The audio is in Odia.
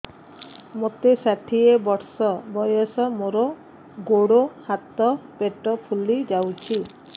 ମୋତେ ଷାଠିଏ ବର୍ଷ ବୟସ ମୋର ଗୋଡୋ ହାତ ପେଟ ଫୁଲି ଯାଉଛି